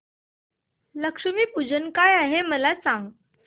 लक्ष्मी पूजन काय आहे मला सांग